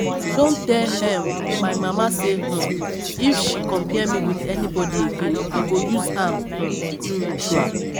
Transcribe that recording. I don tell um my mama say um if she compare me with anybody again I go use am um do ritual